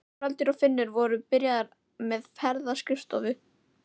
Haraldur og Finnur voru byrjaðir með ferðaskrifstofu.